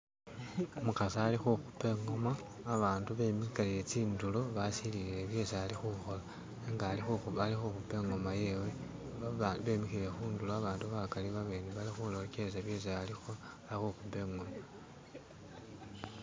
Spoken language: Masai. Umukasi ali kukupa ingoma abantu bemikile tsindulo basilile byesi alikhukhola nenga likhukhupa i'ngoma yewe babandu bemikhile khundulo bali khurekersa byesi arikhukhapa.